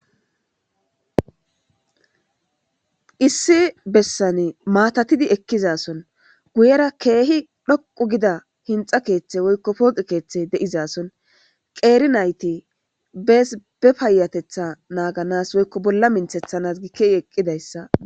Issi bessane maatatidi ekkizason guyera keehi dhoqu gida hinxa keeththe woykko pooqe keeththey deizason qeeri nayti bees be payatetha naaganas woykko bolla minthethanas gikehi eqqidayssa.